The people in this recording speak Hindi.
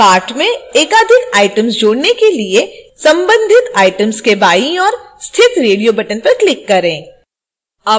cart में एकाधिक items जोड़ने के लिए संबंधित items के बाईं ओर स्थित radio button पर click करें